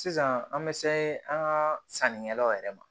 Sisan an bɛ se an ka sannikɛlaw yɛrɛ ma